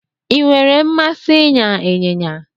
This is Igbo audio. I nwere mmasị ịnya ịnyịnya